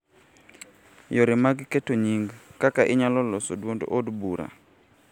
yore mag keto nying�, kaka inyalo loso duond od bura,